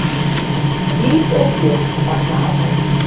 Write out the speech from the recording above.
Líf og fjör í barnaafmæli.